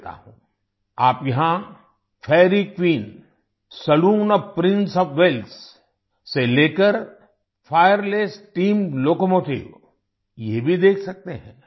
आप यहाँ fairy queen fairy queen saloon O F prince O F Wales saloon of prince of Wales से लेकर fireless steam locomotive fireless steam locomotive ये भी देख सकते हैं